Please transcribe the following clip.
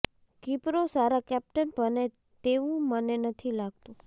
કીપરો સારા કેપ્ટન બને તેવું મને નથી લાગતું